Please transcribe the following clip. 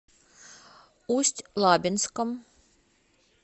усть лабинском